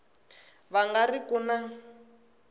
va nga ri ku na